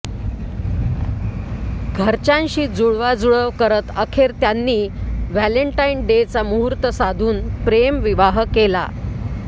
घरच्यांशी जुळवाजुळव करत अखेर त्यांनी व्हॅलेंटाईन डेचा मुहूर्त साधून प्रेमविवाह केला